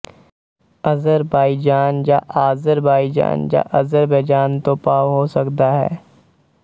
Azerbaijan ਜਾਂ Azerbaijan ਜਾਂ Azerbaijan ਤੋਂ ਭਾਵ ਹੋ ਸਕਦਾ ਹੈ